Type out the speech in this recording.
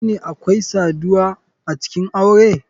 Shine akwai saduwa acikin aure?